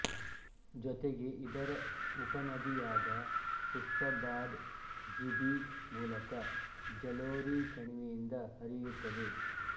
ಜೊತೆಗೆ ಇದರ ಉಪನದಿಯಾದ ಪುಷ್ಪಭಾದ್ ಜಿಭಿ ಮೂಲಕ ಜಲೋರಿ ಕಣಿವೆಯಿಂದ ಹರಿಯುತ್ತದೆ